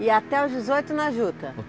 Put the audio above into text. E até os dezoito na Juta?